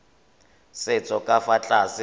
setso ka fa tlase ga